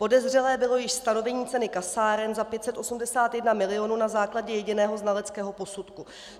Podezřelé bylo již stanovení ceny kasáren za 581 milionů na základě jediného znaleckého posudku.